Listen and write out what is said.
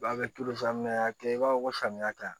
Ba bɛ a y'a kɛ i b'a fɔ ko samiya ka ɲi